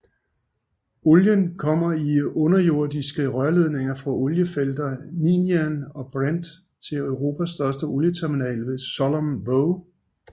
Olien kommer i undersøiske rørledninger fra oliefelterne Ninian og Brent til Europas største olieterminal ved Sullom Voe